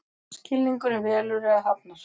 Skilningurinn velur eða hafnar.